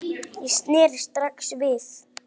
Ég sneri strax við.